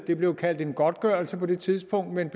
det blev kaldt en godtgørelse på det tidspunkt men